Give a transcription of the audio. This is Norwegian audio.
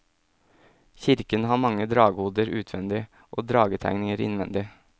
Kirken har mange dragehoder utvendig, og dragetegninger innvendig.